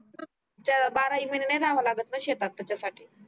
बाराही महीने नाही लावा लागत ना शेतात त्याच्या साठी